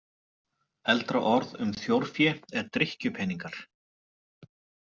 Eldra orð um þjórfé er drykkjupeningar.